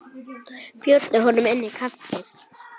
Bjóddu honum inn í kaffi.